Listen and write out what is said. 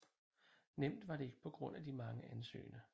Nemt var det ikke på grund af de mange ansøgende